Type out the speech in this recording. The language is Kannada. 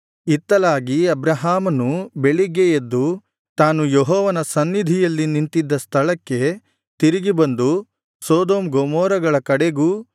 ಇತ್ತಲಾಗಿ ಅಬ್ರಹಾಮನು ಬೆಳಿಗ್ಗೆ ಎದ್ದು ತಾನು ಯೆಹೋವನ ಸನ್ನಿಧಿಯಲ್ಲಿ ನಿಂತಿದ್ದ ಸ್ಥಳಕ್ಕೆ ತಿರುಗಿ ಬಂದು ಸೊದೋಮ್ ಗೊಮೋರಗಳ ಕಡೆಗೂ